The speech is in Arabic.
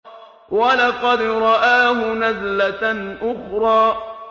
وَلَقَدْ رَآهُ نَزْلَةً أُخْرَىٰ